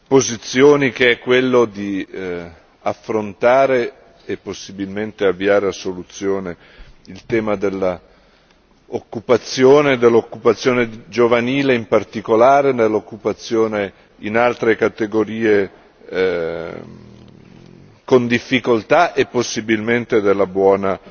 posizioni, che è quello di affrontare e possibilmente avviare a soluzione, il tema dell'occupazione, dell'occupazione giovanile in particolare, nell'occupazione in altre categorie con difficoltà e possibilmente della buona